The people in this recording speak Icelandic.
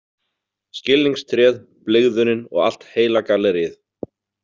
Skilningstréð, blygðunin og allt heila galleríið.